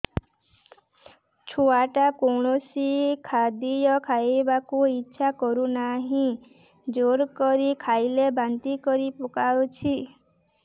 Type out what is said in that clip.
ଛୁଆ ଟା କୌଣସି ଖଦୀୟ ଖାଇବାକୁ ଈଛା କରୁନାହିଁ ଜୋର କରି ଖାଇଲା ବାନ୍ତି କରି ପକଉଛି